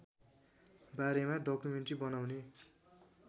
बारेमा डकुमेन्ट्री बनाउने